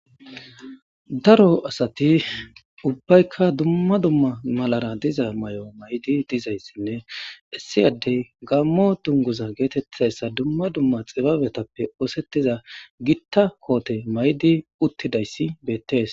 Daro asati ubbaykka dumma dumma malara diza may'o maydi dizayssinne issiyaddey gammo dunguza geetettessa dumma dumma xibabetappe oosettiza gitta koote maydi uttidayssi beettees